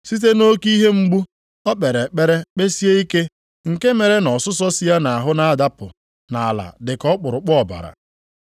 Site nʼoke ihe mgbu, o kpere ekpere kpesie ike, nke mere na ọsụsọ si ya nʼahụ na-adapụ nʼala dị ka ọkpụrụkpụ ọbara.